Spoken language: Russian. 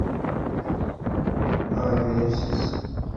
авенсис